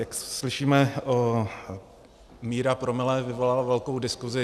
Jak slyšíme, míra promile vyvolala velkou diskusi.